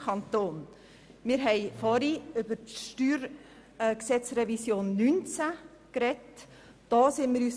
Wir haben vorhin über die StG-Revision 2019 gesprochen.